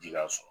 Ji ka sɔrɔ